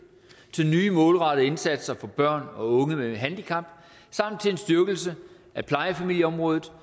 til nye målrettede indsatser for børn og unge med handicap samt til en styrkelse af plejefamilieområdet